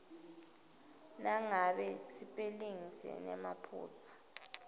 nangabe sipelingi sinemaphutsa